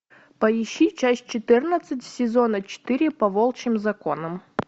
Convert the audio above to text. поищи часть четырнадцать сезона четыре по волчьим законам